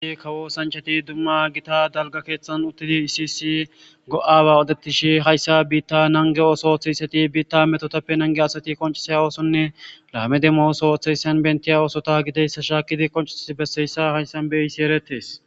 Hayti kawo oothanchati dumma gita dalga keethan uttidi issi issi go'aba haasa'ishe hayssa biita nango ootho oothishe biita biita metotappe nangiya asati qoncisiya oothonne laame demo oothiya oothizaysata bentiya ootho gidiyaysa shaakidi qoncisi bessiyaysa haysan qoncisin haysan beyishe eretees